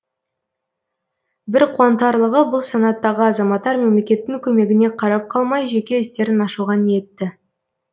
бір қуантарлығы бұл санаттағы азаматтар мемлекеттің көмегіне қарап қалмай жеке істерін ашуға ниетті